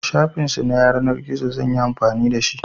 Shafin su na yanar gizo zan yi amfani da shi.